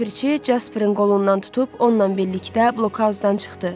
Ləpirçi Casperin qolundan tutub onunla birlikdə blok-auzdan çıxdı.